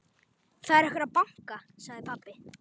Það er einhver að banka, sagði pabbi.